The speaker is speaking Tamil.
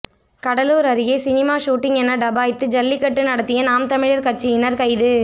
கடலூர் அருகே சினிமா சூட்டிங் என டபாய்த்து ஜல்லிக்கட்டு நடத்திய நாம் தமிழர் கட்சியினர் கைது